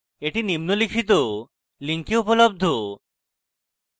এটি নিম্নলিখিত link উপলব্ধ